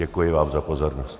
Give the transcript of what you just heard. Děkuji vám za pozornost.